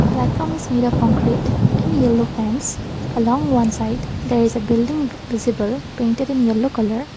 platform is made of concrete in yellow along long side there is a building visible painted in yellow colour.